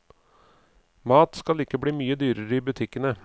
Mat skal ikke bli mye dyrere i butikkene.